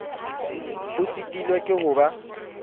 o sitilwe ke ho ba